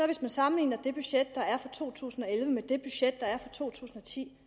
hvis jeg sammenligner det budget der er for to tusind og elleve med det budget der er for to tusind og ti